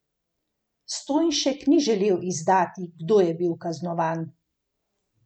Stojnšek ni želel izdati, kdo je bil kaznovan.